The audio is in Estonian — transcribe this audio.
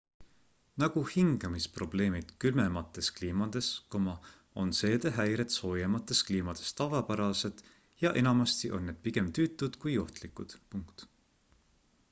nagu hingamisprobleemid külmemates kliimades on seedehäired soojemates kliimades tavapärased ja enamasti on need pigem tüütud kui ohtlikud